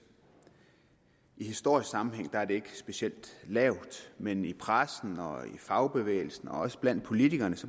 i historisk sammenhæng er det ikke specielt lavt men i pressen og i fagbevægelsen og også blandt politikerne